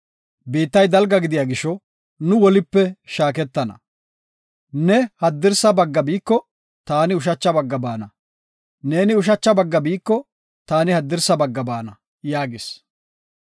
Biittay dalga gidiya gisho nu wolipe shaaketana. Ne haddirsa bagga biiko taani ushacha bagga baana; neeni ushacha bagga biiko taani haddirsa bagga baana” yaagis.